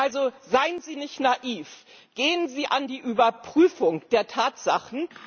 Also Seien Sie nicht naiv, gehen Sie an die Überprüfung der Tatsachen!